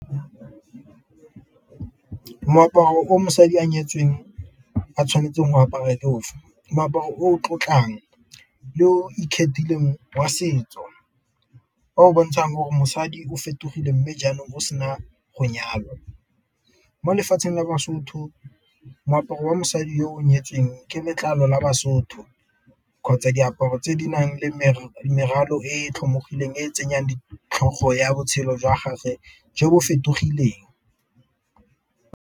Moaparo o mosadi a nyetsweng a tshwanetseng go apara ke ofe? Moaparo o tlotlang yo ikgethileng wa setso o o bontshang gore mosadi o fetogile mme jaanong mo sena go nyalwa. Mo lefatsheng la baSotho moaparo wa mosadi yo o nyetsweng ke letlalo la baSotho, kgotsa diaparo tse di nang le meralo e tlhomologileng e tsenyang ditlhogo ya botshelo jwa gage jo bo fetogileng.